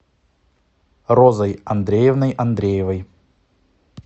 розой андреевной андреевой